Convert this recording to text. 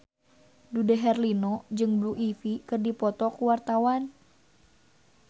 Dude Herlino jeung Blue Ivy keur dipoto ku wartawan